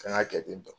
An ka kɛ ten tɔ